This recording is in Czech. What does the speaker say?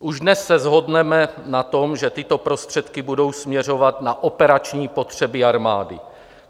Už dnes se shodneme na tom, že tyto prostředky budou směřovat na operační potřeby armády.